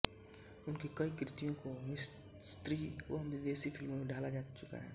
उनकी कई कृतियों को मिस्री व विदेशी फ़िल्मों में ढाला जा चुका है